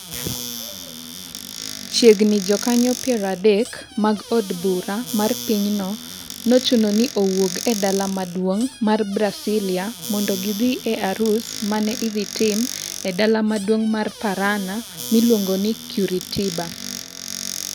Chiegni jokanyo piero adek mag od bura mar pinyno nochuno ni owuog e dala maduong' mar Brasilia mondo gidhi e arus ma ne idhi tim e dala maduong' mar Paraná, miluongo ni Curitiba.